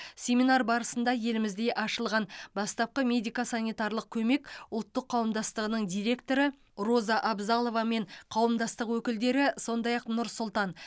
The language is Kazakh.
семинар барысында елімізде ашылған бастапқы медико санитарлық көмек ұлттық қауымдастығының директоры роза абзалова мен қауымдастық өкілдері сондай ақ нұр сұлтан